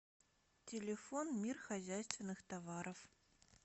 телефон мир хозяйственных товаров